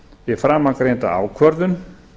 við framangreinda ákvörðun